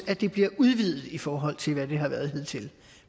at det bliver udvidet i forhold til hvad det har været hidtil